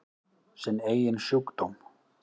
Sinn eigin sjúkdóm.